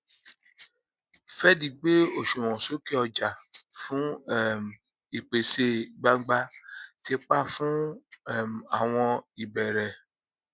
fed gbé òṣùwọn sókè ọjà fún um ìpèsè gbangba ti pa fún um àwọn ìbẹrẹ